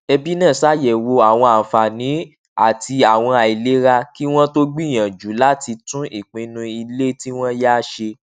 ẹbí náà ṣàyẹwò àwọn àǹfààní àti àwọn àìlera kí wọn tó gbìyànjú láti tún ìpinnu ilé tí wọn yá ṣe